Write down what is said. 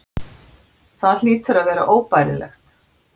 Það hlýtur að vera óbærilegt.